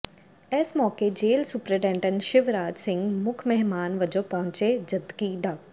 ਇਸ ਮੌਕੇ jail superintendent Shivraj Singh ਮੁੱਖ ਮਹਿਮਾਨ ਵਜੋਂ ਪਹੁੰਚੇ ਜਦਕਿ ਡਾ